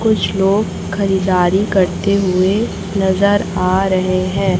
कुछ लोग खरीदारी करते हुए नजर आ रहे हैं।